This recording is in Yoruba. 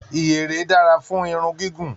Iyere dára fún irun gígùn.